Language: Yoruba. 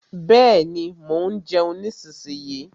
Bẹ́ẹ̀ni, mo ń jeun nísinyí.